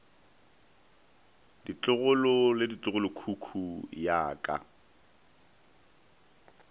ditlogolo le ditlogolokhukhu ya ka